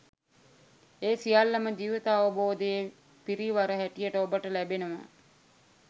ඒ සියල්ලම ජීවිතාවබෝධයේ පිරිවර හැටියට ඔබට ලැබෙනවා